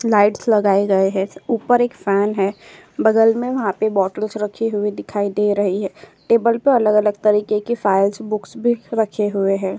Lights लगाए गए है ऊपर एक फैन है बगल में वहाँ पर बॉटल्स रखी हुई दिखाई दे रही है टेबल पे अलग-अलग तरीके की फाइल्स बुक्स भी रखे हुए हैं।